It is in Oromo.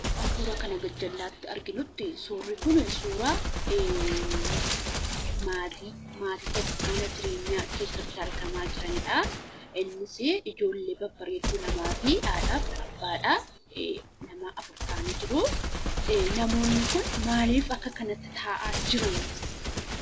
Akkuma kana gajjallaatti arginuttii suurri kunii suuraa maatii maatii tokko mana jireenyaa keessatti argamaa jiranidhaa. Innisii ijoollee babbareedduu lamaa fi haadhaaf abbaadha. Nama afur ta'anii jiruu. Namoonni kun maalif akka kanatti taa'aa jiruu?